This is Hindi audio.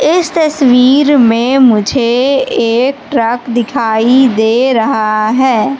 इस तस्वीर में मुझे एक ट्रक दिखाई दे रहा है।